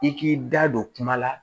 I k'i da don kuma la